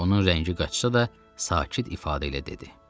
Onun rəngi qaçsa da, sakit ifadə ilə dedi.